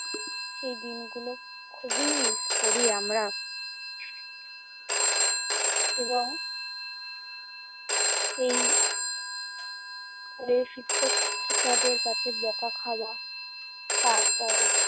সেই দিনগুলো খুবই miss করি আমরা এবং সেই স্কুলের শিক্ষক-শিক্ষিকাদের কাছে বকা খাওয়া। তারপর